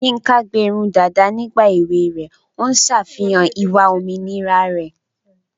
Yinka gbé irun dàda nígbà èwe rẹ̀, ó ń ṣàfihàn ìwà òmìnira rẹ̀.